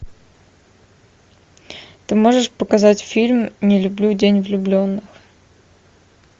ты можешь показать фильм не люблю день влюбленных